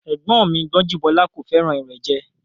Ẹ̀gbọ́n mi Gbọ́njúbọ́lá kò fẹ́ràn ìrẹ́jẹ